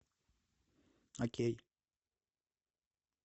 окей